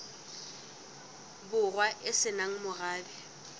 borwa e se nang morabe